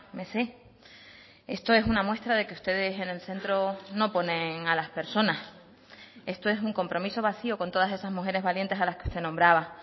me sé esto es una muestra de que ustedes en el centro no ponen a las personas esto es un compromiso vacío con todas esas mujeres valientes a las que usted nombraba